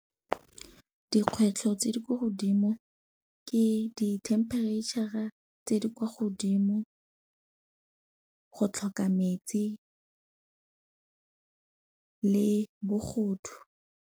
Dikgwetlho tse di ko godimo ke di-temperature-a tse di kwa godimo, go tlhoka metsi le bogodu.